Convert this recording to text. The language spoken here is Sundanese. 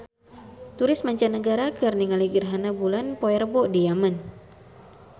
Turis mancanagara keur ningali gerhana bulan poe Rebo di Yaman